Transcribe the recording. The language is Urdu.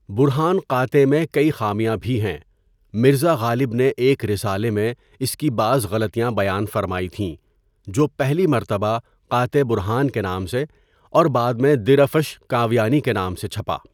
برہان قاطع میں کئی خامیاں بھی ہیں مرزا غالب نے ایک رسالہ میں اس کی بعض غلطیاں بیان فرمائی تھیں جو پہلی مرتبہ قاطع برہان کے نام سے اور بعد میں دِرَفْشِ کاویانی کے نام سے چھپا.